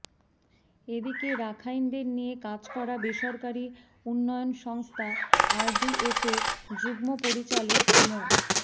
এদিকে রাখাইনদের নিয়ে কাজ করা বেসরকারি উন্নয়ন সংস্থা আরডিএফ এর যুগ্ম পরিচালক মো